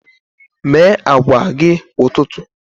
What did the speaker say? Mee akwa gị kwa ụtụtụ.